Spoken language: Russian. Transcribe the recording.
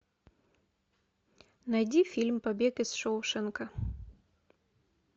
найди фильм побег из шоушенка